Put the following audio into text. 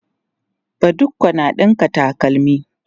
badiko na ɗinka takalma